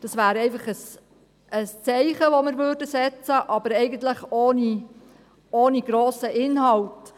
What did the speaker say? Das wäre einfach ein Zeichen, das wir setzen würden, aber eigentlich ohne grossen Inhalt.